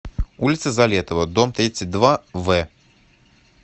улица залетова дом тридцать два в